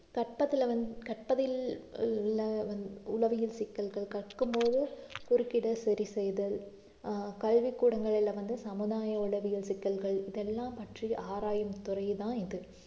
கற்பத்துல வந்~ கற்பதில் உள~ உளவியல் சிக்கல்கள் கற்றுக்கும்போது குறுக்கிட சரி செய்தல் ஆஹ் கல்வி கூடங்களிலே வந்து சமுதாய உளவியல் சிக்கல்கள் இதெல்லாம் பற்றி ஆராயும் துறைதான் இது